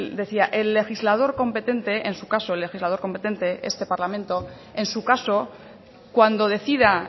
decía el legislador competente en su caso el legislador competente este parlamento en su caso cuando decida